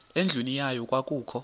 endlwini yayo kwakukho